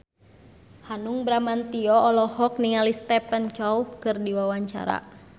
Hanung Bramantyo olohok ningali Stephen Chow keur diwawancara